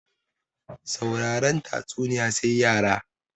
Sauraren tatsuniya sai yara